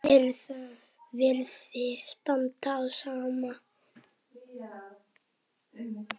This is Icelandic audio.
Virðist standa á sama.